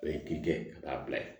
O ye k'i kɛ a b'a bila ye